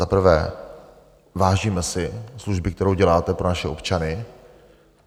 Za prvé, vážíme si služby, kterou děláte pro naše občany.